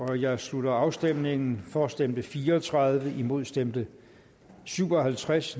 jeg slutter afstemningen for stemte fire og tredive imod stemte syv og halvtreds